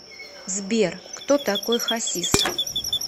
сбер кто такой хассис